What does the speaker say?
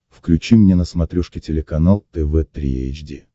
включи мне на смотрешке телеканал тв три эйч ди